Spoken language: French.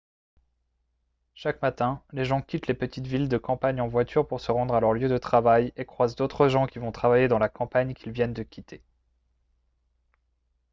chaque matin les gens quittent les petites villes de campagne en voiture pour se rendre à leur lieu de travail et croisent d'autres gens qui vont travailler dans la campagne qu'ils viennent de quitter